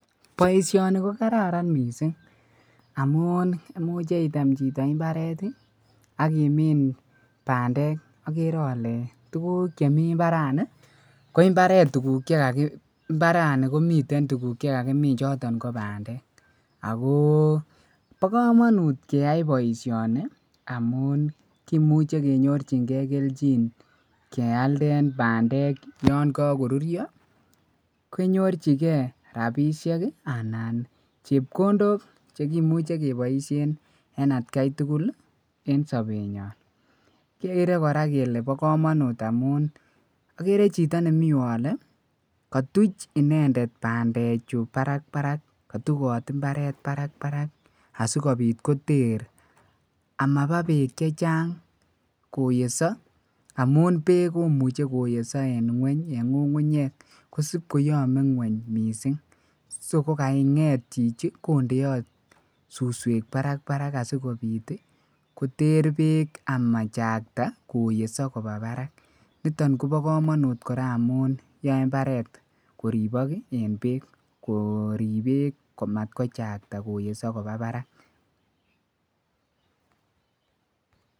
boishoni kogararan mising amuun koimuche iteem chito imbareet iih ak imiin bandeek, oogeree ole tuguk chimii imbarani, mbarani komiten tuguk chegagimiin choton ko bandeek agoo bokomonut keyai boishoni amuun kimuche kenyorchingee kelchin kealdeen bandeek yon kagoruryoo, kenyorchigee rabishek anan chepkondook chegimuche keboishen en atkai tugul iih en sobeet nyoon, kegere koraa kele bo komonut amuun ogere chito nemii yuu ole kotuch inendet bandeechu barakbarak kotuboot mbareet barakbarak asigobiit koterr amaba beek chechang koyesoo amuun beek komuche koyeso en ngungunyeek kosiib koyome ngweny mising, si kogangeet chichi kondeoot susweek barak barak asigobiit iih koterr beek koyesoo koba barak, niton kobo komonuut koraa amuun iih yoe imbareet koribook en beek koriib beek amat kochakta koyeso koba baraak.